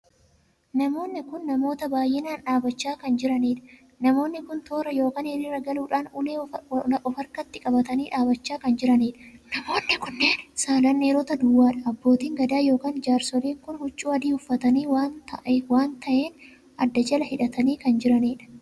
Namoonni kun namoota baay'inaan dhaabbachaa kan jiranidha. namoonni kun toora ykn hiriiraa galuudhaan ulee of harkatti qabatanii dhaabbachaa kan jiranidha. namoonni saalaan dhiiroota duwwaadha. abbootiin gadaa ykn jaarsoliin kun huccuu adii uffatanii waan taheen adda jala hidhatanii kan jiranidha.